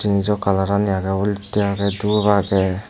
jeanso colour ani agey olottey agey dhup agey.